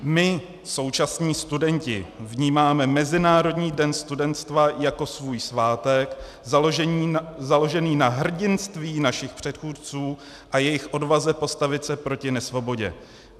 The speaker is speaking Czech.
My, současní studenti, vnímáme Mezinárodní den studenstva jako svůj svátek založený na hrdinství našich předchůdců a jejich odvaze postavit se proti nesvobodě.